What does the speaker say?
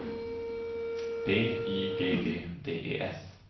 B Y G G D E S